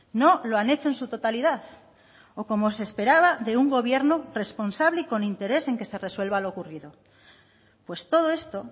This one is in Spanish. no lo han hecho en su totalidad o como se esperaba de un gobierno responsable y con interés en que se resuelva lo ocurrido pues todo esto